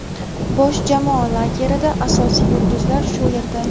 Bosh jamoa lagerida: asosiy yulduzlar shu yerda.